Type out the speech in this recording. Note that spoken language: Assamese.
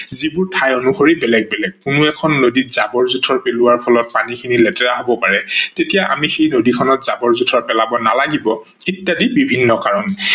যিবোৰ ঠাই অনুসৰি বেলেগ বেলেগ। কোনো এখন নদীত জাবৰ জোথৰ পেলোৱা ফলত পানীখিনি লেতেৰা হব পাৰে তেতিয়া আমি সেই নদীখনত জাবৰ জোথৰ পেলাব নালাগিব ইত্যাদি বিভিন্ন কাৰন।